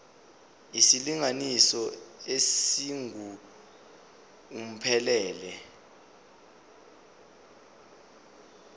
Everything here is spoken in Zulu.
isilinganiso esingu uphumelele